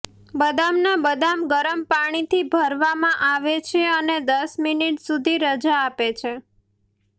બદામના બદામ ગરમ પાણીથી ભરવામાં આવે છે અને દસ મિનિટ સુધી રજા આપે છે